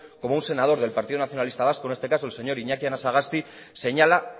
cómo un senador del partido nacionalista vasco en este caso el señor iñaki anasagasti señala